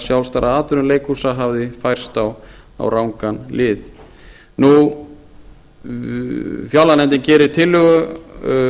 sjálfstæðra atvinnuleikhúsa hafði færst á rangan lið fjárlaganefndin gerir tillögu